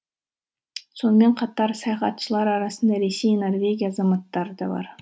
сонымен қатар саяхатшылар арасында ресей норвегия азаматтары да бар